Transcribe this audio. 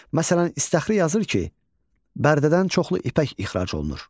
Məsələn, İstağri yazır ki, Bərdədən çoxlu ipək ixrac olunur.